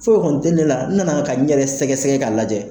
Foyi kɔni tɛ ne la n nana ka n yɛrɛ sɛgɛsɛgɛ k'a lajɛ